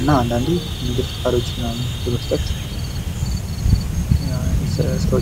እና አንዳንዴም ገንዘብ ለስራ ፈጣሪዎች ምናምን በመስጠት ስራ ይሰራል።